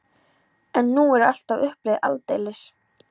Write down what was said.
En nú er allt á uppleið, aldeilis!